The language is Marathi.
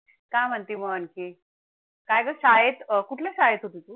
काय म्हणते मग आणखी? काय गं शाळेत कुठल्या शाळेत होती तू